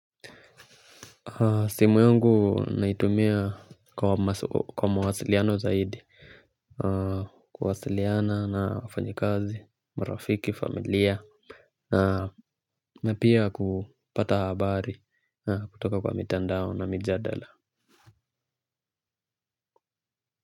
Simu yungu naitumia kwa mawasiliano zaidi, kuwasiliana na wafanyikazi, marafiki, familia, na pia kupata habari kutoka kwa mitandao na mijadala.